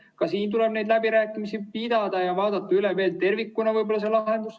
Ka siin tuleb läbirääkimisi pidada ja võib-olla vaadata lahendus tervikuna üle.